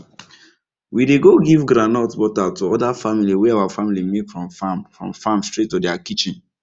we dey go give groundnut butter to oda family wey our family make from farm from farm straight to dia kitchen